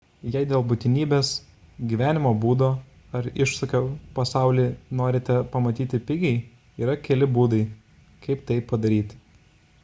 jei dėl būtinybės gyvenimo būdo ar iššūkio pasaulį norite pamatyti pigiai yra keli būdai kaip tai padaryti